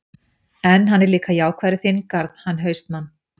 En, hann er líka jákvæður í þinn garð, hann HAustmann.